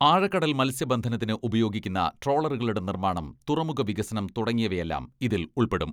ആഴക്കടൽ മൽസ്യബന്ധനത്തിന് ഉപയോഗിക്കുന്ന ട്രോളറുകളുടെ നിർമ്മാണം, തുറമുഖ വികസനം തുടങ്ങിയവയെല്ലാം ഇതിൽ ഉൾപ്പെടും.